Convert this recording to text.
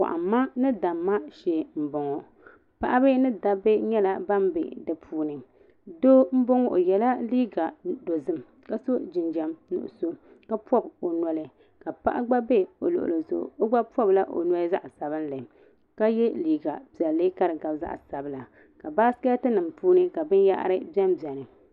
kɔhi mi ma ni da mi ma shee m-bɔŋɔ paɣaba ni dabba nyɛla ban be di puuni doo m-bɔŋɔ o yela liiga dozim ka sɔ jinjam nuɣisɔ ka pɔbi o noli ka paɣa gba be o luɣili zuɣu o gba pɔbila o noli zaɣ' sabinli ka ye liiga piɛlli ka di gabi zaɣ' sabila ka baasiketi nima puuni ka binyɛhiri be m-beni.